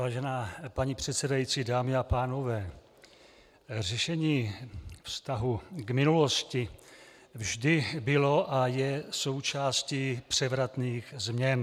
Vážená paní předsedající, dámy a pánové, řešení vztahu k minulosti vždy bylo a je součástí převratných změn.